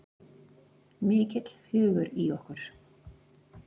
Mikill hugur í okkur